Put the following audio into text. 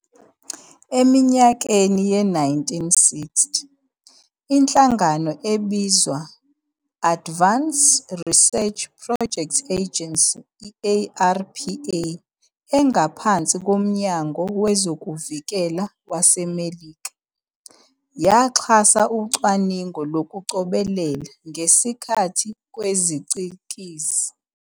Eminyakeni ye-1960, inhlangano ebizwa "Advanced Research Projects Agency, ARPA, engaphansi koMnyango wezoVikela waseMelika, yaxhasa ucwaningo lokucobelela-ngesikhathi kwezicikizi.